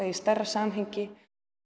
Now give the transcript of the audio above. í stærra samhengi